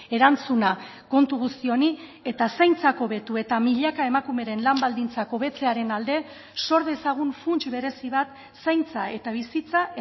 erantzuna kontu guzti honi eta zaintzak hobetu eta milaka emakumeren lan baldintzak hobetzearen alde sor dezagun funts berezi bat zaintza eta bizitza